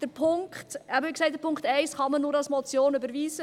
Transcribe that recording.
Den Punkt 1 kann man, wie gesagt, nur als Motion überweisen.